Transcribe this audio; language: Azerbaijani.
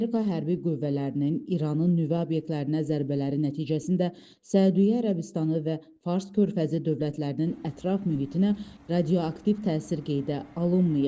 Amerika hərbi qüvvələrinin İranın nüvə obyektlərinə zərbələri nəticəsində Səudiyyə Ərəbistanı və Fars körfəzi dövlətlərinin ətraf mühitinə radioaktiv təsir qeydə alınmayıb.